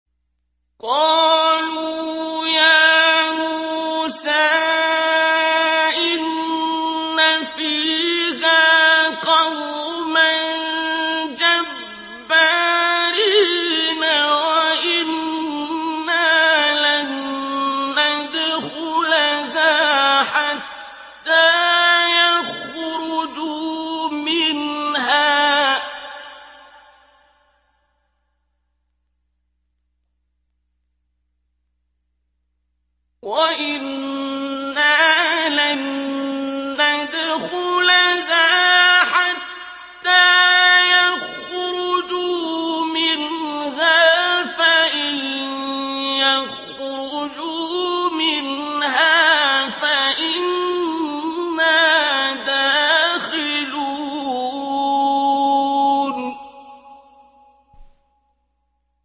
قَالُوا يَا مُوسَىٰ إِنَّ فِيهَا قَوْمًا جَبَّارِينَ وَإِنَّا لَن نَّدْخُلَهَا حَتَّىٰ يَخْرُجُوا مِنْهَا فَإِن يَخْرُجُوا مِنْهَا فَإِنَّا دَاخِلُونَ